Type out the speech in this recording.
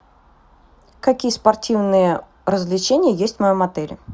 какие спортивные развлечения есть в моем отеле